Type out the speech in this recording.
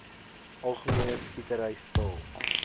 algemene skietery stil